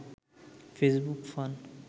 Facebook fun